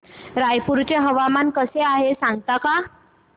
रायपूर चे हवामान कसे आहे सांगता का